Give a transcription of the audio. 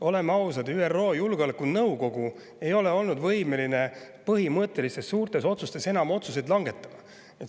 Oleme ausad, ÜRO Julgeolekunõukogu ei ole olnud võimeline enam põhimõttelisi suuri otsuseid langetama.